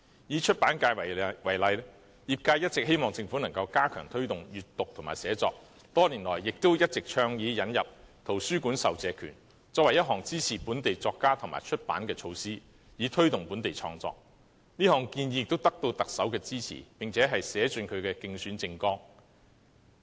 以出版界為例，業界一直希望政府能加強推動閱讀和寫作，多年來也一直倡議引入圖書館授借權，作為支持本地作家及出版的措施，以推動本地創作，這項建議也得到特首支持，並寫進其競選政綱。